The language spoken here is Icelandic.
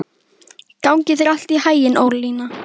Gangi þér allt í haginn, Ólína.